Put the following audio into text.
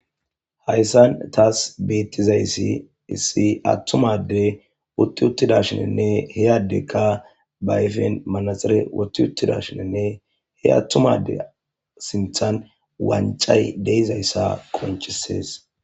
Hayssan taas beettizayssi issi attum adde utti uttidashinenne he addekka ba ayfen manaxere wotti uttidashinenne he attuma adde sinthan wancay de7izayssa qonccisees.